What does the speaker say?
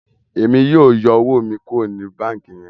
Èmi yóò yọ owo mí kuro ní banki yẹn